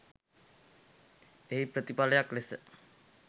එහි ප්‍රතිපලයක් ලෙස